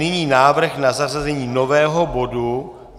Nyní návrh na zařazení nového bodu.